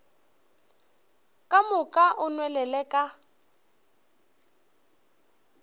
ka moka o nwelele ka